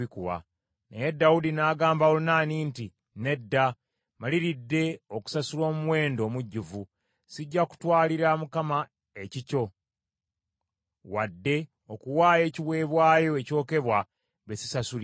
Naye Dawudi n’agamba Olunaani nti, “Nedda, maliridde okusasula omuwendo omujjuvu. Sijja kutwalira Mukama ekikyo, wadde okuwaayo ekiweebwayo ekyokebwa bye sisasulidde.”